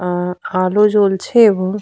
অ্যা আলো জ্বলছে এবং --